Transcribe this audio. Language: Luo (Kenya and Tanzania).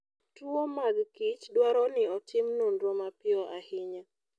Tuwo mag kichdwaro ni otim nonro mapiyo ahinya.